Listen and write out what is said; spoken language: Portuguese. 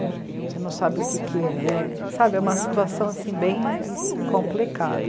Você não sabe o que que é, sabe? É uma situação bem complicada.